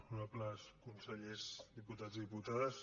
honorables consellers diputats i diputades